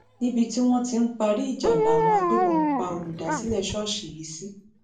níbi tí wọn ti ń parí ìjà làwọn agbébọn pa olùdásílẹ ṣọọṣì yìí sí